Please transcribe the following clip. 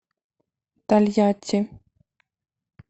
тольятти